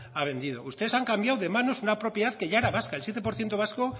ha vendido ustedes han cambiado de manos una propiedad que ya era vasca el siete por ciento vasco